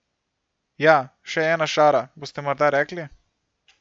Ja, še ena šara, boste morda rekli?